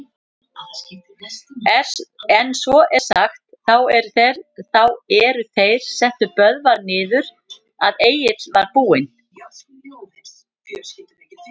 En svo er sagt, þá er þeir settu Böðvar niður, að Egill var búinn